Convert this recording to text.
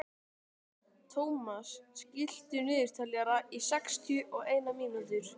Thomas, stilltu niðurteljara á sextíu og eina mínútur.